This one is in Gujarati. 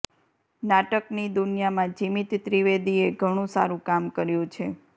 નાટકની દુનિયામાં જિમિત ત્રિવેદીએ ઘણું સારું કામ કર્યું છે